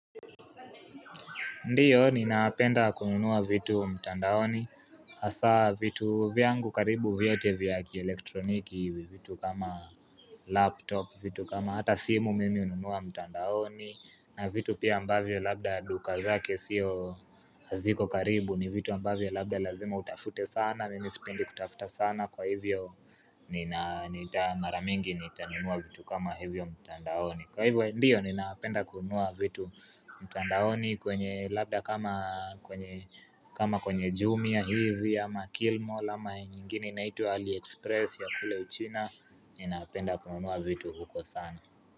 Ndiyo, ninapenda kununua vitu mtandaoni Hasa vitu vyangu karibu vyote vya kielektroniki vitu kama laptop, vitu kama hata simu mimi ununua mtandaoni na vitu pia ambavyo labda duka zake sio haziko karibu ni vitu ambavyo labda lazima utafute sana Mimi sipendi kutafuta sana kwa hivyo Nina nita mara mingi nita nunua vitu kama hivyo mtandaoni Kwa hivyo ndiyo ninaapenda kunua vitu mtandaoni kwenye labda kama kwenye kama kwenye jumia hivi ama killmall ama nyingine inaitwa aliexpress ya kule uchina, ninapenda kununua vitu huko sana.